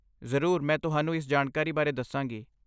ਜ਼ਰੂਰ ਮੈਂ ਤੁਹਾਨੂੰ ਇਸ ਜਾਣਕਾਰੀ ਬਾਰੇ ਦੱਸਾਂਗੀ ।